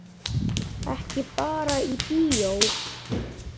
Ekki bara í bíó.